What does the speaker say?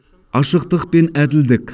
ашықтық пен әділдік